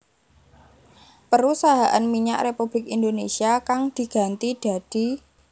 Perusahaan Minyak Republik Indonésia kang diganti dadi